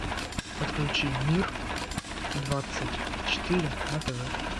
подключи мир двадцать четыре на тв